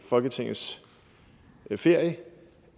folketingets ferie